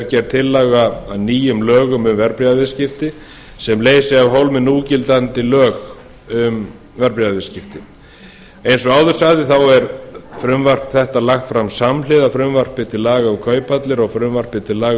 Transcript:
gerð tillaga að nýjum lögum um verðbréfaviðskipti sem leysi af hólmi núgildandi lög um verðbréfaviðskipti eins og áður sagði er frumvarp þetta lagt fram samhliða frumvarpi til laga um kauphallir og frumvarpi til laga